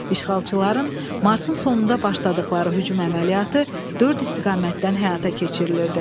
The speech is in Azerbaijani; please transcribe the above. İşğalçıların martın sonunda başladıqları hücum əməliyyatı dörd istiqamətdən həyata keçirilirdi.